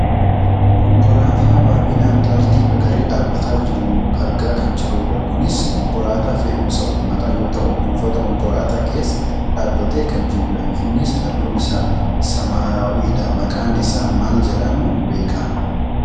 Konkolaataa baayyinaan tartiibaa galee dhaabbataa jiru argaa kan jirrudha. Kunis Konkolaataa fe'umsa uummataa yoo ta'u buufata Konkolaataa keessa dhaabbatee kan jirudha. Innis halluun isaa samaawwiidha. Maqaan isaa maal jedhamuun beekkama?